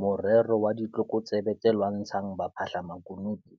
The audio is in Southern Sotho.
Morero wa ditlokotsebe tse lwantshang baphahlamaku nutu